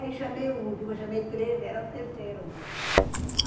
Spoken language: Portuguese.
Aí chamei o último, chamei três, era o terceiro.